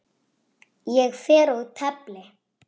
Ég fer og tefli!